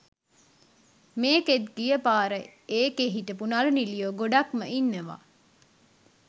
මේකෙත් ගිය පාර එකේ හිටපු නළු නිළියෝ ගොඩක්ම ඉන්නවා.